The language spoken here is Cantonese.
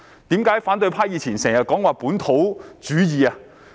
為何反對派以前經常說"本土主義"？